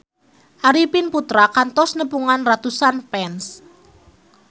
Arifin Putra kantos nepungan ratusan fans